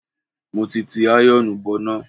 Mo ti ti àyọ̀ọ̀nù bọná.